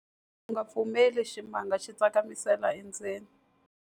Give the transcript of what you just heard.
U nga pfumeleli ximanga xi tsakamisela endzeni.